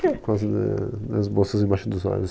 Por causa da, das bolsas embaixo dos olhos.